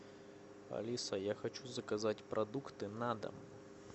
алиса я хочу заказать продукты на дом